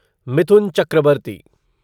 Mithun Chakraborty